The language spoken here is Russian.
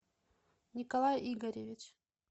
николай игоревич